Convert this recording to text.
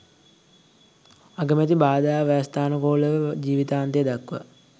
අගමැති බාධා ව්‍යවස්ථානුකූලව ජීවිතාන්තය දක්වා